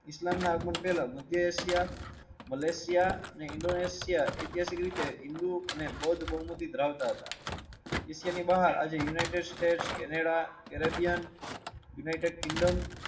ઇસ્લામ ના અવગુણ પેલા માધ્ય એશિયા, મલેશિયા અને ઇન્ડોનેશિયા એ હિન્દૂ અને બૌદ્ધ બહુમતી ધરાવતા હતા એશિયા ની બહાર આજે United States, Canada, Caribbean, United Kingdom